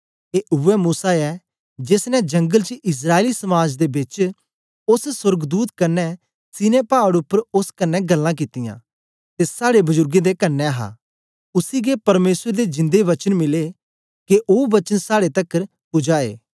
ए उवै मूसा ऐ जेस ने जंगल च इस्राएली समाज दे बेच ओस सोर्गदूत कन्ने सीनै पाड़ उपर ओस कन्ने गल्लां कित्तियां ते साड़े बजुरगें दे कन्ने हा उसी गै परमेसर दे जिंदे वचन मिले के ओ वचन साड़े तकर पुजाए